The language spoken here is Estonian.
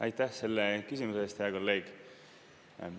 Aitäh selle küsimuse eest, hea kolleeg!